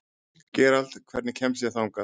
Gerald, hvernig kemst ég þangað?